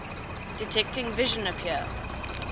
detecting vision appear